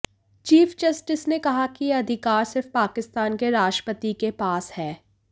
chief justice ने कहा कि यह अधिकार सिर्फ पाकिस्तान के राष्ट्रपति के पास है